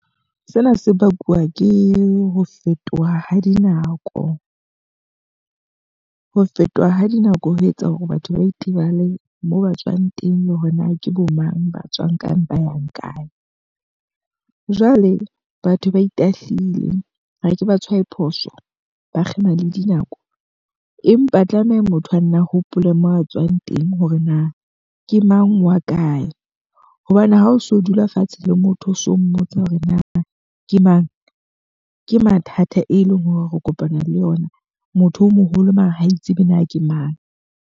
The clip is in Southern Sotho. Sena se bakwa ke ho fetoha ha dinako, ho fetoha ha dinako ho etsa hore batho ba itebale moo ba tswang teng le hore na ke bo mang, ba tswang ka ba yang kae. Jwale batho ba itahlile ha ke ba tshware phoso, ba kgema le dinako. Empa tlameha motho a nne a hopole mo a tswang teng hore na ke mang wa kae. Hobane ha o so dula fatshe le motho o so mmotsa hore na ke mang? Ke mathata e leng hore re kopana le ona. Motho o moholo mare ha itseba na ke mang.